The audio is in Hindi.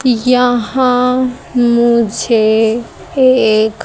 यहां मुझे एक--